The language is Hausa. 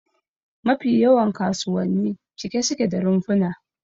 Mafi yawan kasuwanni cike suke da rumfuna